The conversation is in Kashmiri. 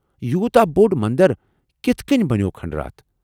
یوتاہ بوٚڑ مندر کتھہٕ کٔنہِ بنیوو کھنڈرات؟